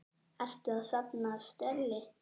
Ertu að safna stelli?